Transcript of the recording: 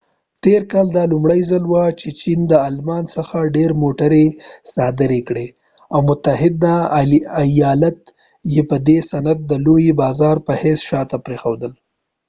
تیر کال دا لومړۍ ځل وه چې چېن د آلمان څخه ډیری موټری صادرې کړي او متحده ایالت یې په ددې صنعت دلوي بازار په حیث شاته پریښودل